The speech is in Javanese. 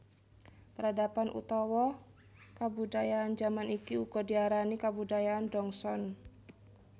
Peradaban utawa kabudayaan jaman iki uga diarani kabudayaan Dongson